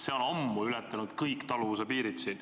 See on ammu ületanud kõik taluvuse piirid.